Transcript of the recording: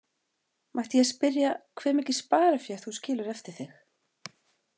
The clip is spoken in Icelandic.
Mætti ég spyrja hve mikið sparifé þú skilur eftir þig?